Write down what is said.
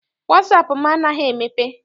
Wasaapụ m anaghị emepe.